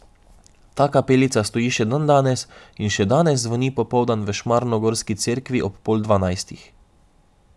Ta kapelica stoji še dandanes in še danes zvoni poldan v šmarnogorski cerkvi ob pol dvanajstih.